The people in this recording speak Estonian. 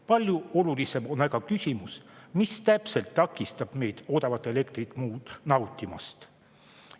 Palju olulisem on aga küsimus, mis täpselt takistab meid odavat elektrit nautimast.